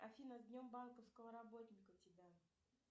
афина с днем банковского работника тебя